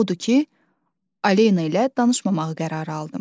Odur ki, Alena ilə danışmamağı qərarı aldım.